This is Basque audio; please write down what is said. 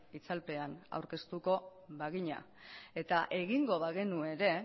itzalpean aurkeztuko bagina eta egingo bagenu ere